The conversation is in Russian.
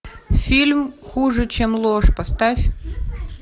фильм хуже чем ложь поставь